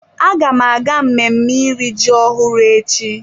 Agam aga mmemme iri ji ọhụrụ echi.